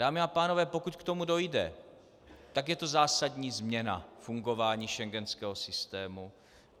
Dámy a pánové, pokud k tomu dojde, tak je to zásadní změna fungování schengenského systému.